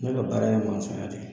Ne ka baara ye Masɔnya de ye